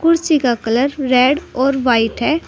कुर्सी का colour red और व्हाइट है।